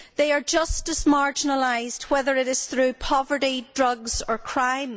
They are just as marginalised, whether it is through poverty, drugs or crime.